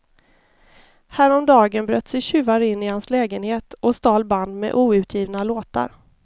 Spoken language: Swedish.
Häromdagen bröt sig tjuvar in i hans lägenhet och stal band med outgivna låtar.